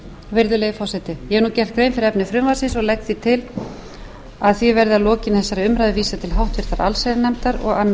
virðulegi forseti ég hef nú gert grein fyrir efni frumvarpsins og legg til að því verði að lokinni þessari umræðu vísað til háttvirtrar allsherjarnefndar og annarrar umræðu